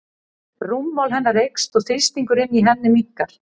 Rúmmál hennar eykst og þrýstingur inni í henni minnkar.